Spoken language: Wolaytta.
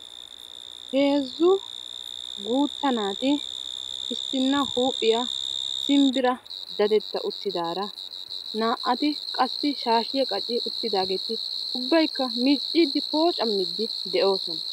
Heezzu guutta naati issinna huuphiya simbbira dadetta uttidaara naa"ati qassi shaashiya qaci uttidaageeti ubbaykka miicciiddi poocammiiddi de"oosona.